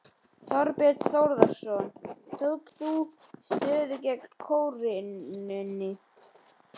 Þorbjörn Þórðarson: Tókst þú stöðu gegn krónunni?